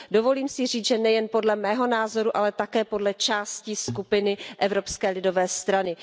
Dovolím si říci, že nejen podle mého názoru, ale také podle části skupiny Evropské lidové strany.